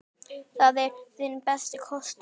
Það er þinn besti kostur.